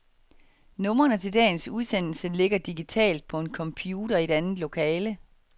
Numrene til dagens udsendelse ligger digitalt på en computer i et andet lokale.